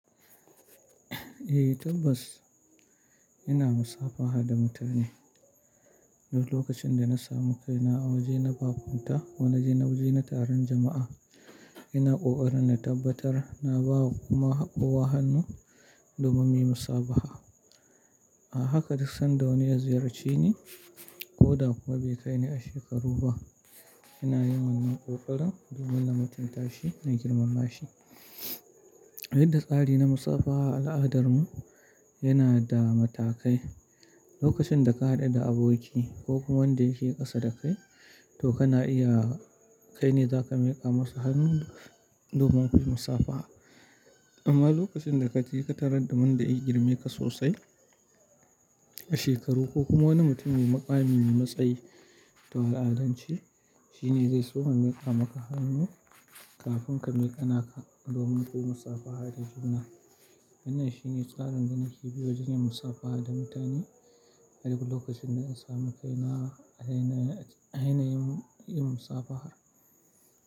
Eh tabbas ina musafaha da mutane. Duk lokacin da na samu kai na a waje na bakunta wane waje na taron jama'a, ina ƙoƙarin na tabbatar na ba wa kuma haɓowa hannu domin muyi musafaha. A haka duk sanda wani ya ziyarce ni ko da kuma bai kai ni a shekaru ba, ina yin wannan ƙoƙarin domin na mutunta shi na girmama shi. Yadda tsari na musafaha a al'adar mu yana da matakai. Lokacin da ka haɗu da aboki ko kuma wanda yake ƙasa da kai, to kana iya kai ne za ka miƙa masa hannu domin ku yi musafaha. Amma lokacin da ka je ka tarar da wanda ya yi girma ka sosai a shekaru ko kuma wani mutum mai maƙami mai matsayi ta al'adanci, shi ne zai so ya miƙa maka hannu kafin ka miƙa naka domin ku musafaha da jubana. Wannan shi ne tsarin ganiki biyu wajen yin musafaha da mutane. Har lokacin da in samu kai na, a ina, a ina yin, yin musafaha.